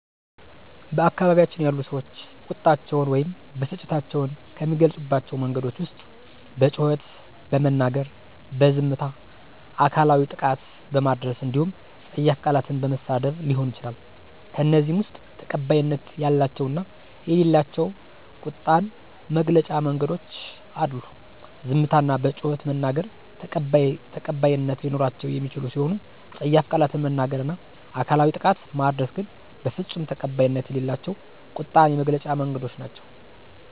በአካባቢያችን ያሉ ሰዎች ቁጣቸውን ወይም ብስጭታቸውን ከሚገልፁባቸው መንገዶች ዉስጥ በጩኸት በመናገር፣ በዝምታ፣ አካላዊ ጥቃት በማድረስ እንዲሁም ፀያፍ ቃላትን በመሳደብ ሊሆን ይችላል። ከእነዚህም ውስጥ ተቀባይነት ያላቸው እና የሌላቸው ቁጣን መግለጫ መንገዶች አሉ፤ ዝምታ እና በጩኸት መናገር ተቀባይት ሊኖራቸው የሚችሉ ሲሆኑ ፀያፍ ቃላትን መናገር እና አካላዊ ጥቃት ማድረስ ግን በፍፁም ተቀባይነት የሌላቸው ቁጣን የመግለጫ መንገዶች ናቸው።